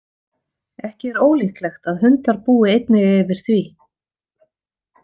Ekki er ólíklegt að hundar búi einnig yfir því.